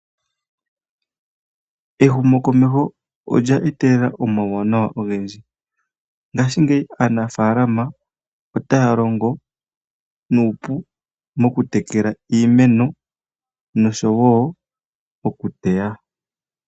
Ehumo komeho olya etelela omauwanawa ogendji ,ngaashingeyi aanafaalama otaya longo nuupu moku tekela iimeno nosho wo oku teya.